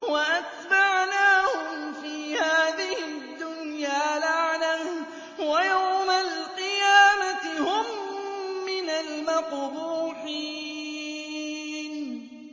وَأَتْبَعْنَاهُمْ فِي هَٰذِهِ الدُّنْيَا لَعْنَةً ۖ وَيَوْمَ الْقِيَامَةِ هُم مِّنَ الْمَقْبُوحِينَ